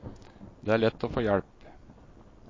Det er lett å få hjelp.